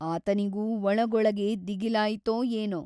ಆತನಿಗೂ ಒಳಗೊಳಗೆ ದಿಗಿಲಾಯಿತೊ ಏನೋ ?